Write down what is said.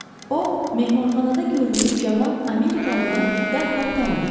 O, mehmanxanada gördüyü cavan Amerikalını dərhal tanıdı.